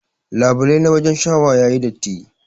Labulai na wajen shawa yayi datti.